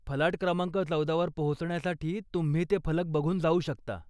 फलाट क्रमांक चौदावर पोहचण्यासाठी तुम्ही ते फलक बघून जाऊ शकता.